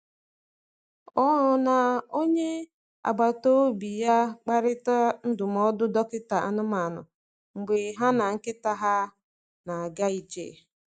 Ọ na onye agbata obi ya kparịtara ndụmọdụ dọkịta anụmanụ mgbe ha na nkịta ha na-aga ije.